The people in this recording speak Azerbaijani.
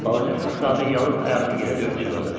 Balaca Şahzadə yalın ayağını yerə döyüb çığırdı.